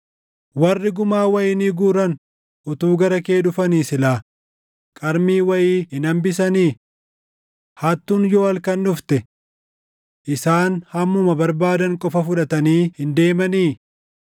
Warri gumaa wayinii guuran utuu gara kee dhufanii silaa qarmii wayii hin hambisanii? Hattuun yoo halkan dhufte, Isaan hammuma barbaadan qofa fudhatanii hin deemanii?